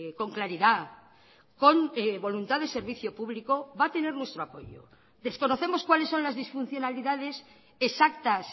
con claridad con voluntad de servicio público va a tener nuestro apoyo desconocemos cuáles son las disfuncionalidades exactas